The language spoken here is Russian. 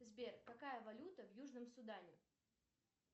сбер какая валюта в южном судане